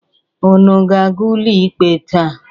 Unu ga-aga ụlọikpe taa?